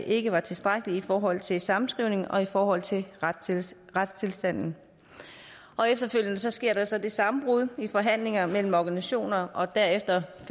ikke var tilstrækkelige i forhold til en sammenskrivning og i forhold til retstilstanden efterfølgende sker der så et sammenbrud i forhandlingerne mellem organisationerne og derefter